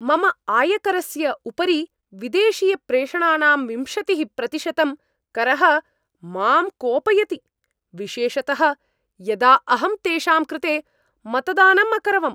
मम आयकरस्य उपरि विदेशीयप्रेषणानां विंशतिः प्रतिशतं करः मां कोपयति, विशेषतः यदा अहं तेषां कृते मतदानम् अकरवम्।